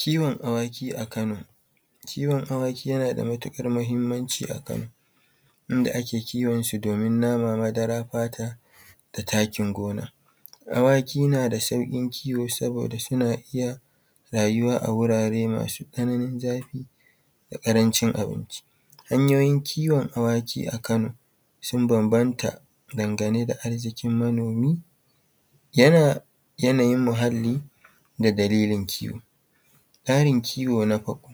Kiwon awaki a Kano. Kiwon awaki yana da matuƙar muhimmanci a kano inda ake kiwon su domin nama, madara, fata da takin gona. Awaki na da sauƙin kiwo saboda suna iya rayuwa a wurare masu tsananin zafi da ƙarancin abinci. Hanyoyin kiwon awaki a Kano sun bambanta dangane da arziƙin mamoni, yana yanayin muhalli da dalilin kiwo. Tsarin kiwo na farko: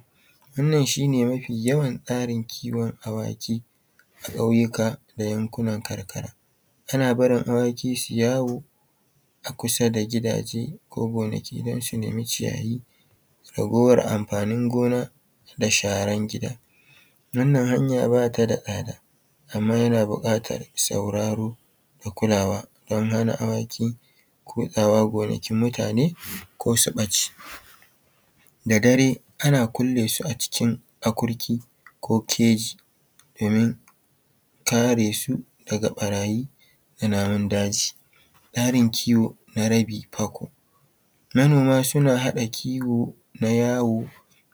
Wannan shine mafi yawan tsarin kiwon awaki a ƙauyuka da yankunan karkara ana barin awaki su yi yawo a kusa da gidaje ko gonaki don su nemi ciyayi, ragowar amfanin gona da sharan gida. Wannan hanya bata da tsada amma yana buƙatar sauraro da kulawa don hana awaki kutsawa gonakin mutane ko su ɓace. Da dare ana kulle su a cikin akurki ko keji domin kare su daga ɓarayi ko namun daji. Tsarin kiwo na rabi fako: Manoma suna haɗa kiwo na yawo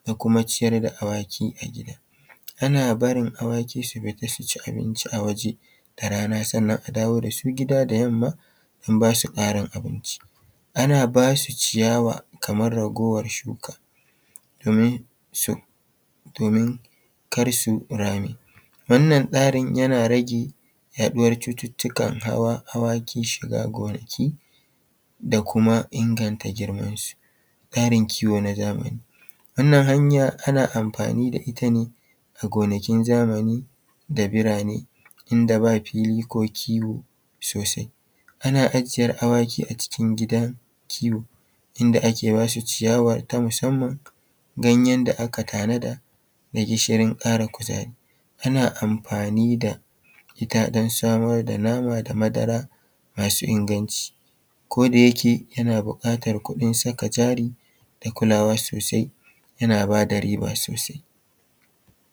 da kuma ciyar da awaki a gida ana barin awaki su fita su ci abinci a waje da, rana sannan a dawo d su gida da yamma a basu ƙarin abinci. Ana basu ciyawa kamar raguwar shuka domin su domin kar su rame, wannan tsarin yana rage yaɗuwar cututtukan hawa hawan awaki shiga gonaki da kuma inganta girman su. Tsarin kiwo na zamani, wannan hanya ana amfani da ita ne a gonakin zamani da birane inda ba fili ko kiwo sosai. Ana ajiyar awaki a cikin gidan kiwo inda ake bashi ciyawa musamman ganyen da aka tanada da gishirin ƙara kuzari. Ana amfani da nama da madara masu inganci koda yake yana buƙatar kuɗin saka jari da kulawa sosai yana bada riba sosai.